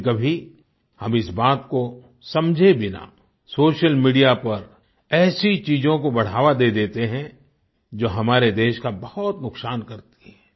कभीकभी हम इस बात को समझे बिना सोशल मीडिया पर ऐसी चीजों को बढ़ावा दे देते हैं जो हमारे देश का बहुत नुक्सान करती हैं